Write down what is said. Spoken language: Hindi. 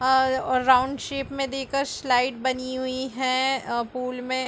और और राउन्ड शेप मे देकर स्लाईड बनी हुई है अ पूल मे--